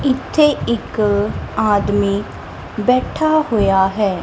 ਇੱਥੇ ਇੱਕ ਆਦਮੀ ਬੈਠਾ ਹੋਇਆ ਹੈ।